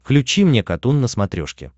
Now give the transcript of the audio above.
включи мне катун на смотрешке